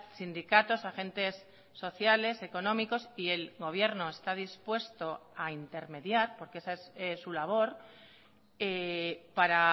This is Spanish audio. sindicatos agentes sociales económicos y el gobierno está dispuesto a intermediar porque esa es su labor para